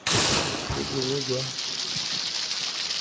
jo bongwe jwa bolwetse jwa